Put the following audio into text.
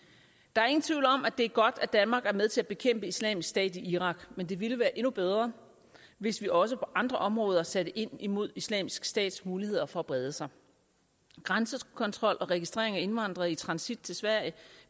er ingen tvivl om at det er godt at danmark er med til at bekæmpe islamisk stat i irak men det ville være endnu bedre hvis vi også på andre områder satte ind imod islamisk stats muligheder for at brede sig grænsekontrol og registrering af indvandrere i transit til sverige